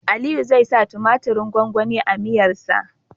Aliyu zai sa tumatirin gwangwani a miyar sa